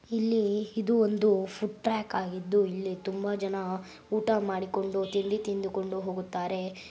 ಇಲ್ಲಿ ಇದು ಒಂದು ಫುಡ್ ಟ್ರಾಕ್ ಹಾಗಿದ್ದು ಇಲ್ಲಿ ತುಂಬಾ ಜನ ಊಟ ಮಾಡಿಕೊಂಡು ತಿಂಡಿ ತಿಂದುಕೊಂಡು ಹೋಗುತ್ತಾರೆ .